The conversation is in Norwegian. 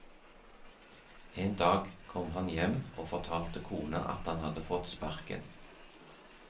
En dag kom han hjem og fortalte kona at han hadde fått sparken.